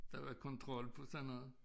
Der var kontrol på sådan noget